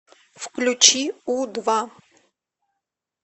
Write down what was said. включи у два